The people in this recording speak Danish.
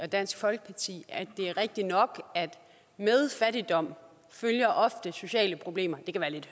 dansk folkeparti at det er rigtigt nok at med fattigdom følger ofte sociale problemer det kan lidt